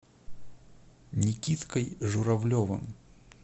никиткой журавлевым